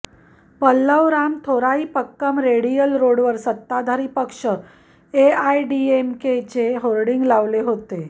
Pallavaram Thoraipakkam radial रोडवर सत्ताधारी पक्ष एआयएडीएमकेचे होर्डिंग लावले होते